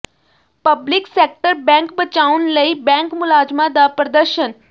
public sector bank ਬਚਾਉਣ ਲਈ bank ਮੁਲਾਜ਼ਮਾਂ ਦਾ ਪ੍ਰਦਰਸ਼ਨ